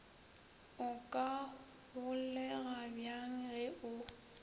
o ka holegabjang ge o